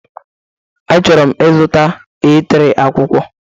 Achọrọ m ịzụta A3, akwụkwọ